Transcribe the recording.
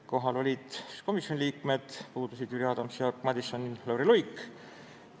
Kohal olid komisjoni liikmed, puudusid Jüri Adams, Jaak Madison, Lauri Luik.